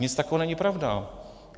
Nic takového není pravda.